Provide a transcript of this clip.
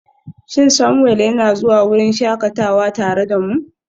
Shin Samuel yana zuwa wurin shakatawa tare da mu?